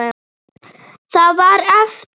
Það var eftir.